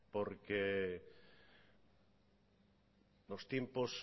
porque los tiempos